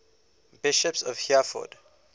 bishops of hereford